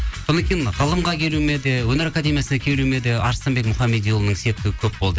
содан кейін ғылымға келуіме де өнер академиясына келуіме де арыстанбек мұхамедиұлының септігі көп болды